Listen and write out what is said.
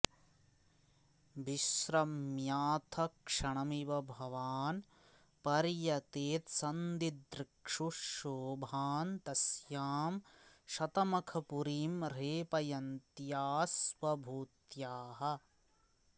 विश्रम्याऽथ क्षणमिव भवान् पर्यतेत्सन्दिदृक्षुः शोभां तस्यां शतमखपुरीं ह्रेपयन्त्याः स्वभूत्याः